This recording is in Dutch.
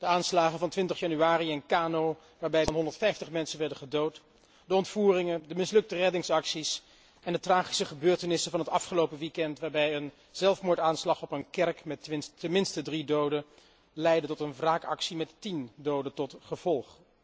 De aanslagen van 20 januari in Kano, waarbij meer dan 150 mensen werden gedood, de ontvoeringen, de mislukte reddingsacties en de tragische gebeurtenissen van het afgelopen weekeinde, waarbij een zelfmoordaanslag op een kerk met tenminste drie doden leidde tot een wraakactie met tien doden tot gevolg.